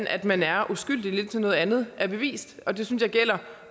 at man er uskyldig indtil noget andet er bevist og det synes jeg gælder